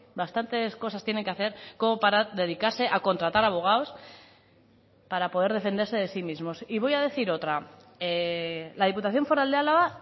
bastantes cosas tienen que hacer como para dedicarse a contratar abogados para poder defenderse de sí mismos y voy a decir otra la diputación foral de álava